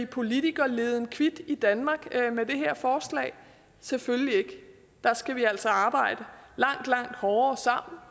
politikerleden kvit i danmark selvfølgelig ikke der skal vi altså sammen arbejde langt langt hårdere